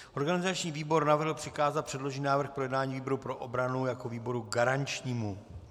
Organizační výbor navrhl přikázat předložený návrh k projednání výboru pro obranu jako výboru garančnímu.